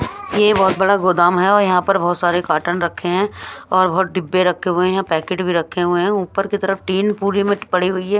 यह बहुत बड़ा गोदाम है और यहां पर बहुत सारे कॉटन रखे हैं और बहुत डिब्बे रखे हुए हैं यहाँ पैकेट भी रखे हुए हैं ऊपर की तरफ टीन पूरी में पड़ी हुई है।